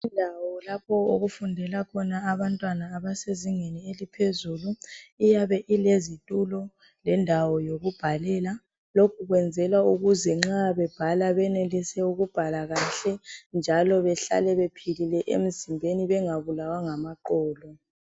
Indawo lapho okufundela khona abantwana abasezingeni eliphezulu iyabe ilezitulo lendawo yokubhalela lokhu kwenzelwa ukuzw nxa bebhala benelise ukubhala kahle njalo behlale bephilile emzimbeni bengabulawa ngamaqolo.